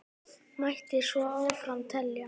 Mætti svo áfram telja.